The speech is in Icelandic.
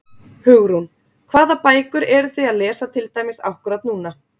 Hugrún: Hvaða bækur eruð þið að lesa til dæmis akkúrat núna?